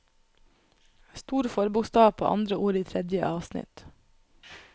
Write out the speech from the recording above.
Stor forbokstav på andre ord i tredje avsnitt